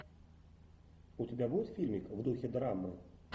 у тебя будет фильмик в духе драмы